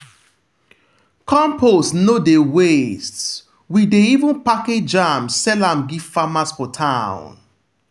compost no dey waste- we dey even package am sell give farmers for town.